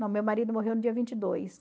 Não, meu marido morreu no dia vinte e dois